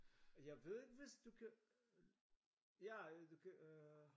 Jeg ved ikke hvis du kan ja du kan øh